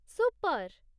Super!